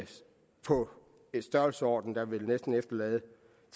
en størrelsesorden der næsten er